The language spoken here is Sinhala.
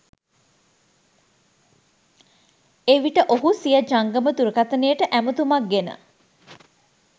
එවිට ඔහු සිය ජංගම දුරකථනයට ඇතුමක් ගෙන